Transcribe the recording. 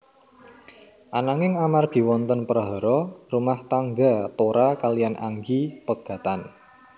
Ananging amargi wonten prahara rumah tangga Tora kaliyan Anggi pegatan